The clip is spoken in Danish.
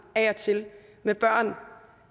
af og til med børn